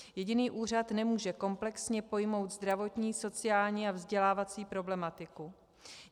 Jediný úřad nemůže komplexně pojmout zdravotní, sociální a vzdělávací problematiku.